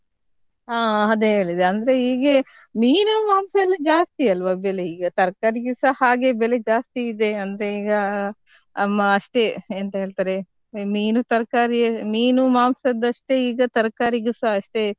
ಹಾ ಅದೇ ಹೇಳಿದೆ, ಅಂದ್ರೆ ಹೀಗೆ ಮೀನು ಮಾಂಸ ಎಲ್ಲ ಜಾಸ್ತಿ ಅಲ್ವ ಬೆಲೆ ಈಗ ತರಕಾರಿಗೆಸ ಹಾಗೆ ಬೆಲೆ ಜಾಸ್ತಿ ಇದೆ ಅಂದ್ರೆ ಈಗ ಅಮ್ಮ ಅಷ್ಟೇ ಎಂತ ಹೇಳ್ತಾರೆ ಮೀನು ತರ್ಕಾರಿ ಮೀನು ಮಾಂಸದಷ್ಟೆ ಈಗ ತರಕಾರಿಗೆಸಾ ಅಷ್ಟೇ.